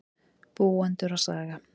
Búendur og saga.